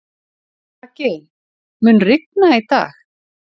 Raggi, mun rigna í dag?